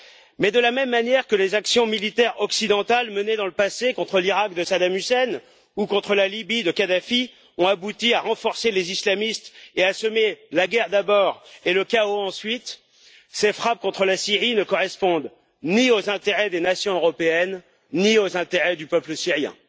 Mais, de la même manière que les actions militaires occidentales menées dans le passé contre l'Iraq de Saddam Hussein ou contre la Libye de Kadhafi ont abouti à renforcer les islamistes et à semer la guerre d'abord et le chaos ensuite, ces frappes contre la Syrie ne correspondent ni aux intérêts des nations européennes, ni aux intérêts du peuple syrien.